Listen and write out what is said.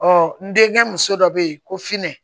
Ɔ n denkɛ muso dɔ bɛ yen ko sinɛ